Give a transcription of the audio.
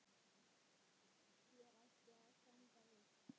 Hér ætti að standa viss.